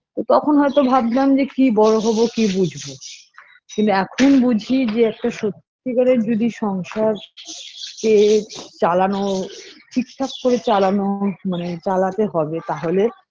তখন হয়তো ভাবতাম যে কি বড়ো হবো কি বুঝবো কিন্তু এখন বুঝি যে একটা সত্যি কারের যদি সংসার কে চালানো ঠিক ঠাক করে চালানো মানে চালাতে হবে তাহলে